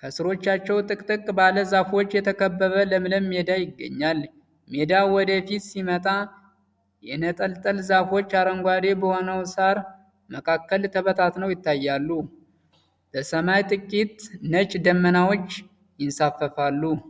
ከሥሮቻቸው፣ ጥቅጥቅ ባለ ዛፎች የተከበበ ለምለም ሜዳ ይገኛል። ሜዳው ወደ ፊት ሲመጣ፣ የነጠልጠል ዛፎች አረንጓዴ በሆነው ሳር መካከል ተበታትነው ይታያሉ። በሰማይ ጥቂት ነጭ ደመናዎች ይንሳፈፋሉ።